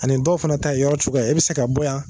Ani dɔw fana ta ye yɔrɔ cogoya ye , i bɛ se ka bɔ yan.